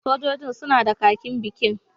Sojojin suna da kakin bikin